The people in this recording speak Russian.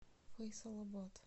фейсалабад